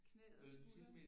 Knæet og skulderen